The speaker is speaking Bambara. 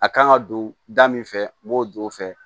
A kan ka don da min fɛ n b'o don o fɛ